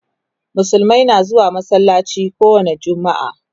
musulmai na zuwa masallaci kowani jumma'a